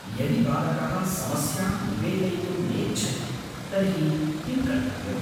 यदि बालकः समस्यां निवेदयितुं नेच्छति तर्हि किं कर्तव्यम्?